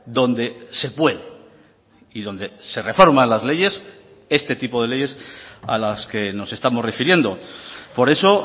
donde se puede y donde se reforman las leyes este tipo de leyes a las que nos estamos refiriendo por eso